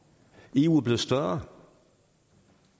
eu er blevet større